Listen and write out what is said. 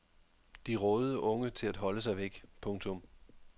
De rådede unge til at holde sig væk. punktum